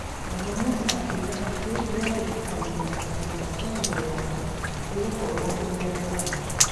Mohamud akiuga atĩ nĩ egwĩtĩkania atĩ ngwatanĩro yao igũkorwo ũũria yaari.